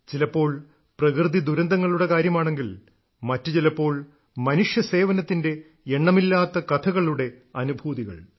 ചിലപ്പോൾ പ്രകൃതിദുരന്തങ്ങളുടെ കാര്യമാണെങ്കിൽ മറ്റുചിലപ്പോൾ മനുഷ്യസേവനത്തിന്റെ എണ്ണമില്ലാത്ത കഥകളുടെ അനുഭൂതികൾ